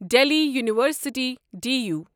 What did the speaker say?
Delhi university D U